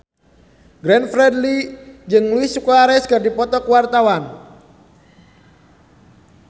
Glenn Fredly jeung Luis Suarez keur dipoto ku wartawan